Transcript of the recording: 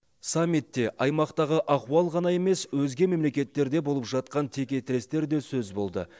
саммитте аймақтағы ахуал ғана емес өзге мемлекеттерде болып жатқан текетірестер де сөз болды